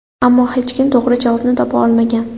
Ammo hech kim to‘g‘ri javobni topa olmagan.